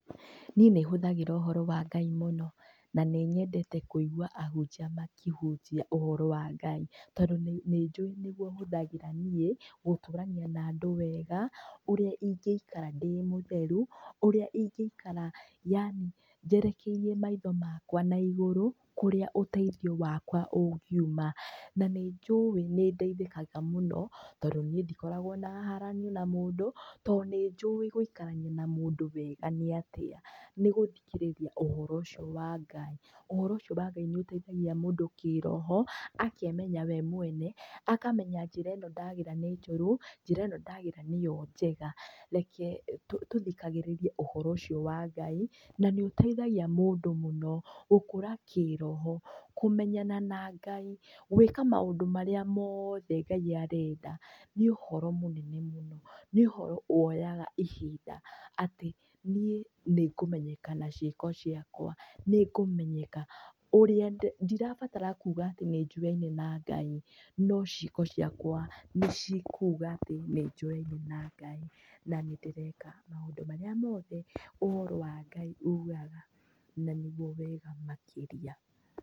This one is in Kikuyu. Niĩ nĩhũthagĩra ũhoro wa Ngai mũno, na nĩnyendete kũigua ahunjia makĩhunjia ũhoro wa Ngai, tondũ nĩ, nĩnjũĩ nĩguo hũthagĩra niĩ, gũtũrania na andũ wega, ũrĩa ingĩikara ndĩ mũtheru, ũrĩa ingĩikara ndĩ, yaani njerekeirie maitho makwa naigũrũ, kũrĩa ũteithi wakwa ũngiuma. Na nĩnjũĩ nĩndeithĩkaga mũno, tondũ niĩ ndikoragwo na haranio na mũndũ, to nĩnjũĩ gũikarania na mũndũ wega nĩatĩa, nĩgũthikĩrĩria ũhoro ũcio wa Ngai, ũhoro ũcio wa Ngai nĩũteithagia mũndũ kĩroho, akemenya we mwene, akamenya njĩra ĩno ndagera nĩ njũru, njĩra ĩno ndagera nĩyo njega, reke tũ, tũthikagĩrĩrie ũhoro ũcio wa Ngai, nanĩũteithagia mũndũ mũno, gũkũra kĩroho, kúmenyana na Ngai, gwĩka maũndũ marĩa mothe Ngai arenda, nĩũhoro mũnene mũno, nĩũhoro woyaga ihinda, atĩ niĩ, nĩngũmenyeka na ciĩko ciakwa, nĩngũmenyeka ũrĩa ndĩ, ndirabatara kuga atĩ nĩnjũyaine na Ngai, no ciĩko ciakwa nĩcikuga atĩ nĩnjũyaine na Ngai, na nĩndĩreka maũndũ marĩa mothe, ũhoro wa Ngai ugaga, na nĩguo wega makĩria.